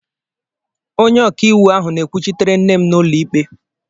Onye ọkaiwu ahụ na-ekwuchitere nne m n'ụlọikpe.